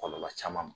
Kɔlɔlɔ caman ma